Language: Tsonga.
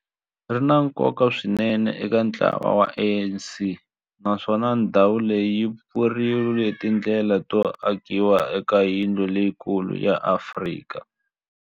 ri na nkoka swinene eka ntlawa wa ANC, naswona ndhawu leyi yi pfurile tindlela to akiwa ka yindlu leyikulu ya Afrika